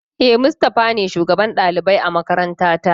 E, Mustafa ne shugaban ɗalibai a makarantata.